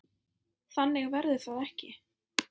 Þannig verður það ekki.